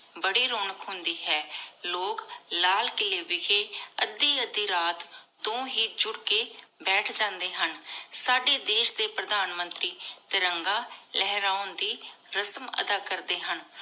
ਬਾਰੀ ਰੋਨਾਕ਼ ਹੁੰਦੀ ਹੈ ਲੋਗ ਲਾਲ ਕੀਲੀ ਵਿਸ਼ੇ ਅਧਿ ਅਧਿ ਰਾਤ ਤੋ ਹੇ ਜੁਰ ਕੀ ਬੇਤਹ ਜਾਂਦੇ ਹਨ ਸਾਡੀ ਦੇਸ਼ ਦੇ ਪਰਧਾਨ ਮੰਤਰੀ ਤਿਰੰਗਾ ਲੇਹ੍ਰਾਂ ਦੇ ਰਸਮ ਅਦਾ ਕਰਦੇ ਹਨ